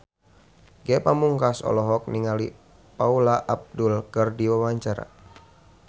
Ge Pamungkas olohok ningali Paula Abdul keur diwawancara